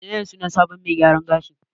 Menene sunan sabon mai gyaran gashin?